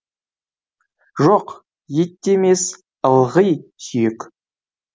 жоқ ет те емес ылғи сүйек